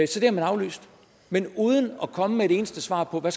så det har man aflyst men uden at komme med et eneste svar på hvad